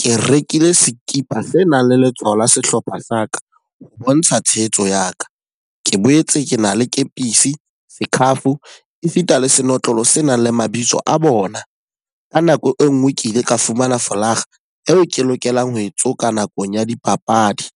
Ke rekile sekipa se nang le letshwao la sehlopha sa ka, ho bontsha tshehetso ya ka. Ke boetse ke na le kepisi, scarf, e sita le senotlolo se nang le mabitso a bona. Ka nako e nngwe ke ile ka fumana folakga eo ke lokelang ho e tsoka nakong ya dipapadi.